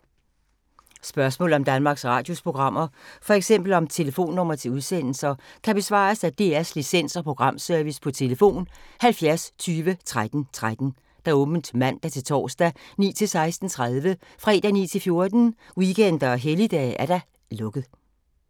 Spørgsmål om Danmarks Radios programmer, f.eks. om telefonnumre til udsendelser, kan besvares af DR Licens- og Programservice: tlf. 70 20 13 13, åbent mandag-torsdag 9.00-16.30, fredag 9.00-14.00, weekender og helligdage: lukket.